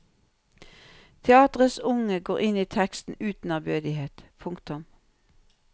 Teatrets unge går inn i teksten uten ærbødighet. punktum